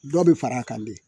Dɔ bɛ far'a kan bilen